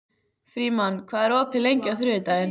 Frímann, hvað er opið lengi á þriðjudaginn?